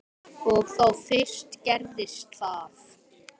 Og þá fyrst gerðist það.